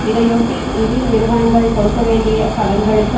இதையொட்டி நிதி நிறுவனங்கள் கொடுக்க வேண்டிய கடன்களுக்கு